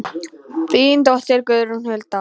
Þín dóttir Guðrún Hulda.